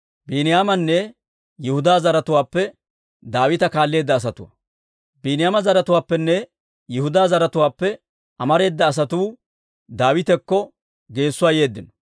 Biiniyaama zaratuwaappenne Yihudaa zaratuwaappe amareeda asatuu Daawitakko geessuwaa yeeddino.